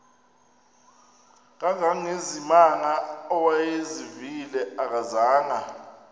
kangangezimanga awayezivile akazanga